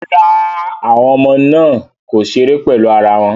Rárá, àwọn ọmọ náà kò ṣeré pẹ̀lú eac other